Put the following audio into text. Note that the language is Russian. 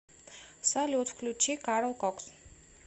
салют включи карл кокс